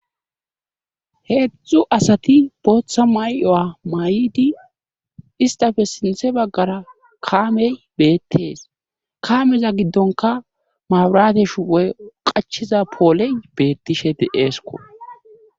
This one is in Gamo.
Heedzdzu asati booththa may'o'a may'idi istafe sinthe baggara kaamey beettees kaameza giddonka maburateshu ey qachiza pooley beettishe deeesko.